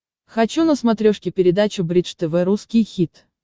хочу на смотрешке передачу бридж тв русский хит